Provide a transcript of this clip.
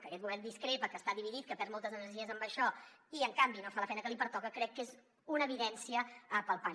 que aquest govern discrepa que està dividit que perd moltes energies en això i en canvi no fa la feina que li pertoca crec que és una evidència palpable